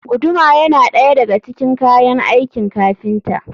Guduma yana ɗaya daga cikin kayan aikin kafinta.